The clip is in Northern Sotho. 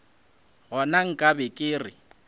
gona nka be ke re